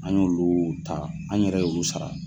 An y'olu ta an yɛrɛ y'olu sara.